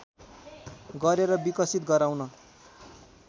गरेर विकसित गराउन